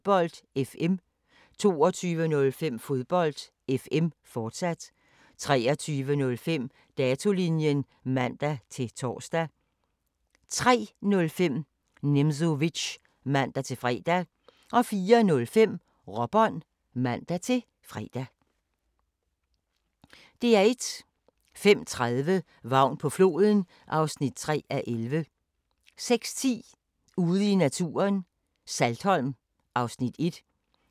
00:05: Sagen genåbnet: Waterloo (Afs. 91) 01:45: Strømerne fra Liverpool (Afs. 9) 02:35: Spooks (Afs. 28) 03:25: Hammerslag 2006 (Afs. 18)* 03:55: Hammerslag 2007 * 04:25: I hus til halsen II (8:8)*